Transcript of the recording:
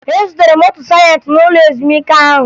Ezutere m otu sajentị n'ụlọ ezumike ahụ